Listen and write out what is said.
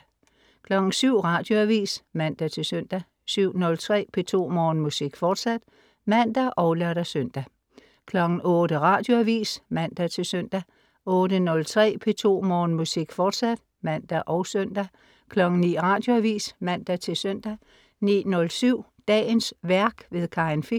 07.00 Radioavis (man-søn) 07.03 P2 Morgenmusik, fortsat (man og lør-søn) 08.00 Radioavis (man-søn) 08.03 P2 Morgenmusik, fortsat (man og søn) 09.00 Radioavis (man-søn) 09.07 Dagens værk. Karin Fich